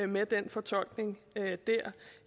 med den fortolkning